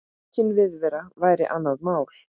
Aukin viðvera væri annað mál.